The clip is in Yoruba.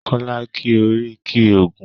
Kọ́lá ki oríkì Ògún.